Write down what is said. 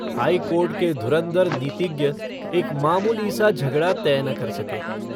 High court के धुरन्धर नीतिज्ञ एक मामूली सा झगड़ा तय न कर सके।